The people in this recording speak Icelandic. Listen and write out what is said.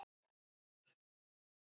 Ég verð glaður áfram hérna.